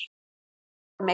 Vilt hitta mig.